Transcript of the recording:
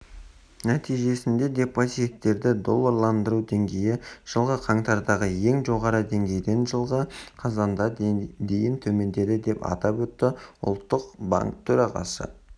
нәтижесінде депозиттерді долларландыру деңгейі жылғы қаңтардағы ең жоғарғы деңгейден жылғы қазанда дейін төмендеді деп атап өтті ұлттық банк төрағасы